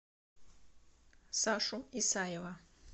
сашу исаева